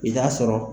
I t'a sɔrɔ